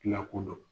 Lakodɔn